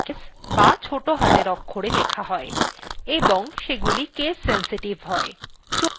commandsগুলি lower case the ছোটো হাতের অক্ষরে লেখা হয় এবং সেগুলি case sensitive হয় চলুন একটি উদাহরন দেখি